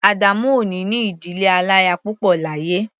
Adamu ò ní ní ìdílé aláya púpọ̀ láyé.